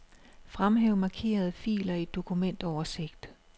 Fremhæv markerede filer i dokumentoversigt.